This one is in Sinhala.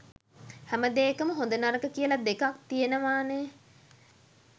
හැමදේකම හොඳ නරක කියලා දෙකක් තියෙනවානේ.